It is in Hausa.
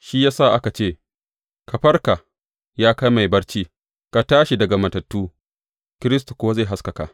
Shi ya sa aka ce, Ka farka, ya kai mai barci, ka tashi daga matattu, Kiristi kuwa zai haskaka ka.